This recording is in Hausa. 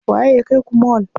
Waye ya kaiku mall?